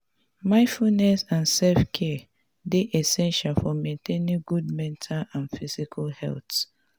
mindfulness and self-care dey essential for maintaining good mental and physical health.